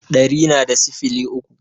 Ɗari na da sifili uku